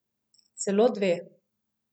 Celo dve.